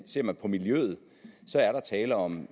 ser man på miljøet er der tale om